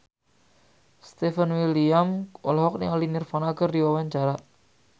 Stefan William olohok ningali Nirvana keur diwawancara